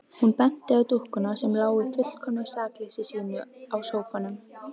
Hún benti á dúkkuna sem lá í fullkomnu sakleysi sínu á sófanum.